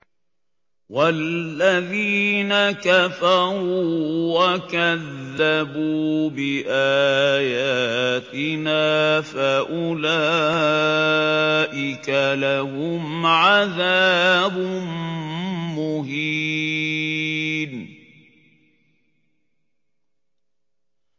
وَالَّذِينَ كَفَرُوا وَكَذَّبُوا بِآيَاتِنَا فَأُولَٰئِكَ لَهُمْ عَذَابٌ مُّهِينٌ